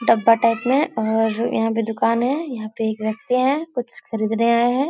डब्बा टाइप में और यहाँ पे दुकानें है। यहाँ पे एक व्यक्ति हैं। कुछ खरीदने आये हैं।